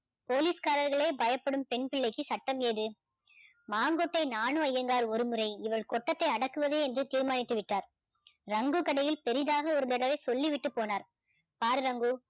police காரர்களே பயப்படும் பெண்பிள்ளைக்கு சட்டம் ஏது மாங்கொட்டை நானு ஐயனார் ஒருமுறை இவள் கொட்டத்தை அடக்குவது என்று தீர்மானித்து விட்டார் ரங்கு கடையில் பெரிதாக ஒரு தடவை சொல்லிவிட்டு போனார் பாரு ரங்கு